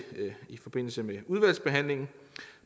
i forbindelse med udvalgsbehandlingen